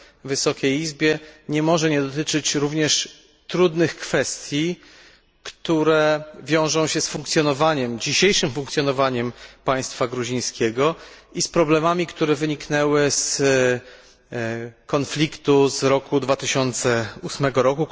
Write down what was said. Wysokiej Izbie, nie może nie dotyczyć również trudnych kwestii, które wiążą się z dzisiejszym funkcjonowaniem państwa gruzińskiego i z problemami, które wyniknęły z konfliktu w 2008 r.